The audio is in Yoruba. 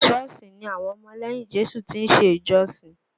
Șọ́ọ̀sì ni àwọn ọmọ lẹ́yìn Jésù ti ń ṣe ìjọ sìn